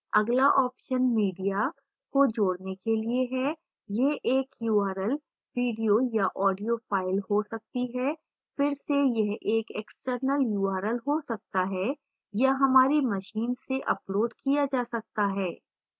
अगला option media को जोड़ने के लिए है यह एक url video या audio file हो सकती है फिर से यह एक external url हो सकता है या हमारी machine से uploaded किया जा सकता है